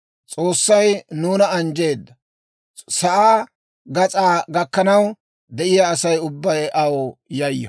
S'oossay nuuna anjjeedda. Sa'aa gas'aa gakkanaw de'iyaa Asay ubbay aw yayyo.